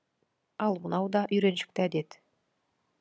ал мынау да үйреншікті әдет